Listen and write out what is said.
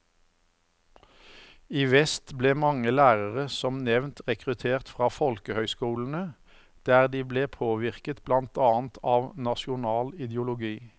I vest ble mange lærere som nevnt rekruttert fra folkehøyskolene, der de ble påvirket blant annet av nasjonal ideologi.